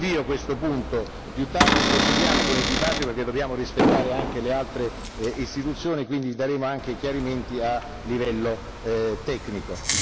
Rinvio questo punto a più tardi e procediamo con il dibattito perché dobbiamo rispettare anche le altre istituzioni, quindi daremo anche chiarimenti a livello tecnico.